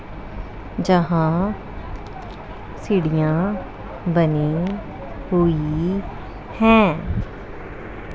जहां सीढियां बनी हुई है ।